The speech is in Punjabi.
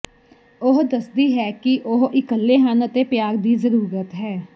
ਉਹ ਦੱਸਦੀ ਹੈ ਕਿ ਉਹ ਇਕੱਲੇ ਹਨ ਅਤੇ ਪਿਆਰ ਦੀ ਜ਼ਰੂਰਤ ਹੈ